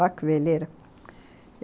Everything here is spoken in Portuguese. Olha que veleira.